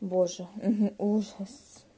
боже ужас